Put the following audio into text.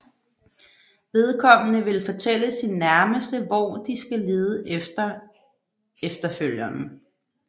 Vedkommende vil fortælle sine nærmeste hvor de skal lede efter efterfølgeren